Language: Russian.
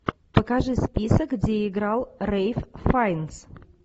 покажи список где играл рэйф файнс